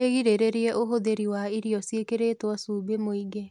wĩgirĩrĩrie ũhũthĩri wa irio ciikiritwo cumbĩ mũingĩ